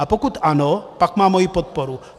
A pokud ano, pak má moji podporu.